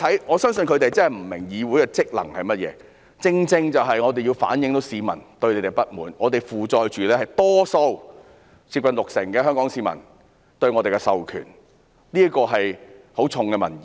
我相信他們真的不明白議會的職能是甚麼，我們正正要反映市民對你們的不滿，我們承載着多數香港市民——是接近六成市民——對我們的授權，這是很重的民意。